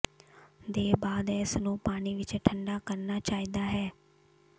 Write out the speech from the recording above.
ਦੇ ਬਾਅਦ ਇਸ ਨੂੰ ਪਾਣੀ ਵਿਚ ਠੰਢਾ ਕਰਨਾ ਚਾਹੀਦਾ ਹੈ